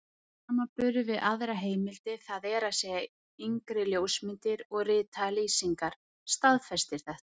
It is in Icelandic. Samanburður við aðrar heimildir, það er að segja yngri ljósmyndir og ritaðar lýsingar, staðfestir þetta.